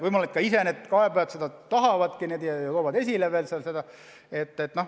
Võimalik, et need kaebajad seda tahavadki ja toovad kõike veel hästi esile.